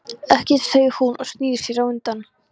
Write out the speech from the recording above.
Ekkert, segir hún og snýr sér undan.